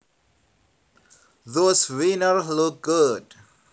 Those wieners look good